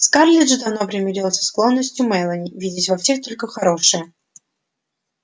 скарлетт же давно примирилась со склонностью мелани видеть во всех только хорошее